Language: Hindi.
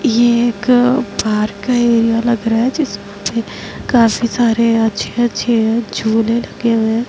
ये एक पार्क का एरिया लग रहा है जिसमें काफी सारे अच्छे-अच्छे झूले लगे हुए हैं।